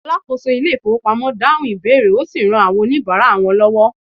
alákóso ilé ifowópamọ́ dahun ìbéèrè osi ran àwọn onibara wan lowo